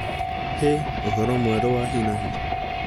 He ũhoro mwerũ wa hinahi